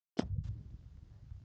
Rúnhildur, mun rigna í dag?